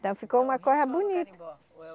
Então ficou uma coisa bonita. Ou é